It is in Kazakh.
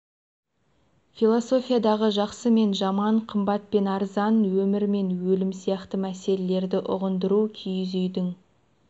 философиядағы жақсы мен жаман қымбат пен арзан өмір мен өлім сияқты мәселелерді ұғындыру киіз үйдің